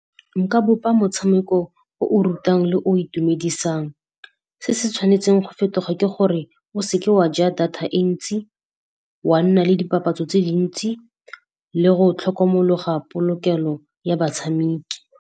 Nka bopa motshameko o o rutang le o itumedisang. Se se tshwanetseng go fetoga ke gore o seke wa ja data e ntsi, wa nna le dipapatso tse dintsi le go tlhokomologa polokelo ya batshameki.